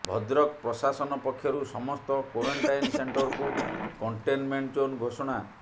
ଭଦ୍ରକ ପ୍ରଶାସନ ପକ୍ଷରୁ ସମସ୍ତ କ୍ବାରେନଣ୍ଟାଇନ ସେଣ୍ଟରକୁ କଣ୍ଟେନମେଣ୍ଟ ଜୋନ୍ ଘୋଷଣା